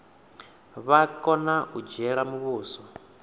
vha kona u dzhiela muvhuso